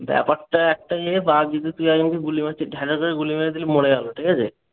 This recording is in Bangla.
ব্যাপারটা একটাই যে পাবজিতে তুই একজনকে গুলি মারছিস ঢে ঢে করে গুলি মেরে দিলি মরে যাবে। ঠিক আছে?